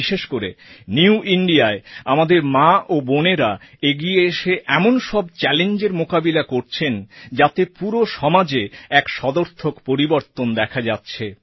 বিশেষ করে নিউ Indiaয় আমাদের মা ও বোনেরা এগিয়ে এসে এমন সব চ্যালেঞ্জের মোকাবিলা করছেন যাতে পুরো সমাজে এক সদর্থক পরিবর্তন দেখা যাচ্ছে